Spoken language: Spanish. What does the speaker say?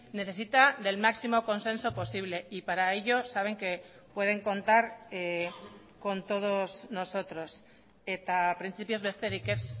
necesita del máximo consenso posible y para ello saben que pueden contar con todos nosotros eta printzipioz besterik ez